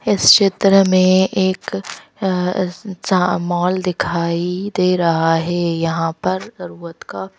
इस चित्र में एक मॉल दिखाई दे रहा है यहां पर जरूरत का--